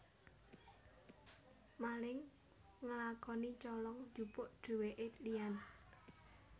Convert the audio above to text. Maling ngelakoni colong jupuk duweke liyan